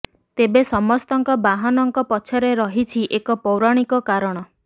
ତେବେ ସମସ୍ତଙ୍କ ବାହନଙ୍କ ପଛରେ ରହିଛି ଏକ ପୌରାଣିକ କାରଣ